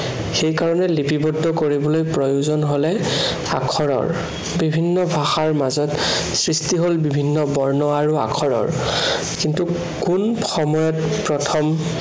সেই কাৰনে লিপিবদ্ধ কৰিবলৈ প্ৰয়োজন হলে আখৰৰ। বিভিন্ন ভাষাৰ মাজত সৃষ্টি হল বিভিন্ন বৰ্ণ আৰু আখৰৰ। কিন্তু কোন সময়ত প্ৰথম